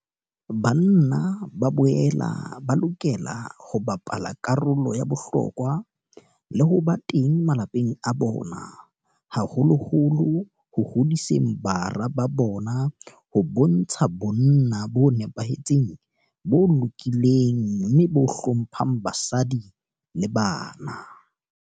Banna ba boela ba lokela ho bapala karolo ya bohlokwa le ho ba teng malapeng a bona, haholoholo ho hodiseng bara ba bona ho bontsha bonna bo nepahetseng, bo lokileng mme bo hlo mphang basadi le bana.